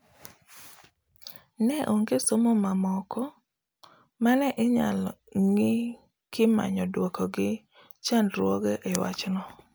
Ne onge somo mamoko mane inyalo ng'i kimanyo duoko gi chandruoge e wach no